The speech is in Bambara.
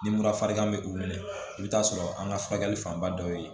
Ni mura farigan bɛ u minɛ i bɛ taa sɔrɔ an ka furakɛli fanba dɔw ye